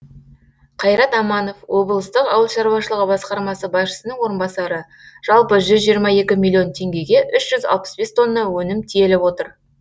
қайрат аманов облыстық ауыл шаруашылығы басқармасы басшысының орынбасары жалпы жүз жиырма екі миллион теңгеге үш жүз алпыс бес тонна өнім тиеліп отыр